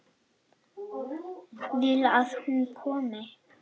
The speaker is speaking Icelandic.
Vill að hún komi.